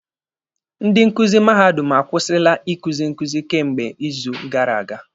Ndị nkuzi mahadum akwụsịla ikuzi nkuzi kemgbe izu gara aga.